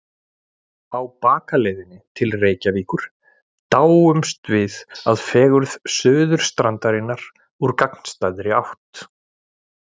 Á bakaleiðinni til Reykjavíkur dáumst við að fegurð Suðurstrandarinnar úr gagnstæðri átt.